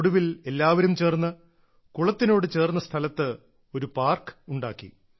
ഒടുവിൽ എല്ലാവരും ചേർന്ന് കുളത്തിനോട് ചേർന്ന സ്ഥലത്ത് ഒരു പാർക്ക് ഉണ്ടാക്കി